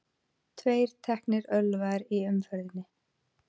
Tveir teknir ölvaðir í umferðinni